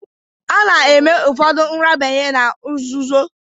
Ana-eme ufodu nrabanye na nzụzoọ.